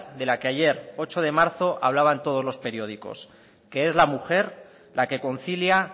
de la que ayer ocho de marzo hablaban todos los periódicos que es la mujer la que concilia